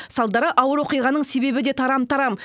салдары ауыр оқиғаның себебі де тарам тарам